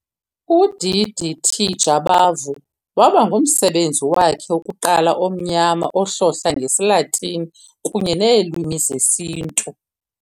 UDDT Jabavu waba ngumsebenzi wakhe wokuqala omnyama ohlohla ngesiLatini kunye neelwimi zesiNtu .